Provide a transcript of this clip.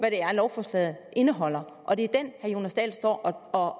er lovforslaget indeholder og det er den herre jonas dahl står og